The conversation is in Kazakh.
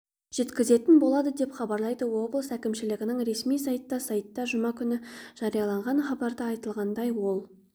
жеткізетін болады деп хабарлады облыс әкімшілігінің ресми сайты сайтта жұма күні жарияланған хабарда айтылғандай ол